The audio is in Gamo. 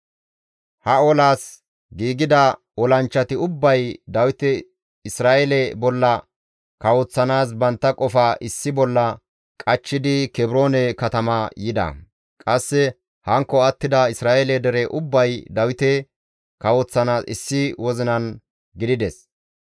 Ha olas giigida olanchchati ubbay Dawite Isra7eele bolla kawoththanaas bantta qofaa issi bolla qachchidi Kebroone katama yida; qasse hankko attida Isra7eele dere ubbay Dawite kawoththanaas issi wozinan gidides.